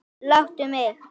Láttu mig.